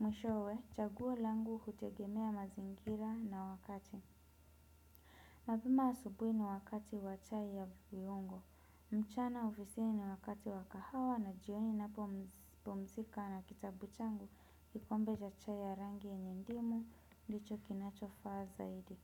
Mwishowe, chaguo langu utegemea mazingira na wakati. Mapema asubui ni wakati wa chai ya viungo. Mchana ofisini ni wakati wa kahawa na jioni napo pumzika na kitabu changu kikombe cha chai ya rangi yenye ndimu ndicho kinachofaa zaidi.